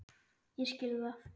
Ég skil það!